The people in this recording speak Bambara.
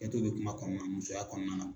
bɛ kuma musoya kɔnɔna na.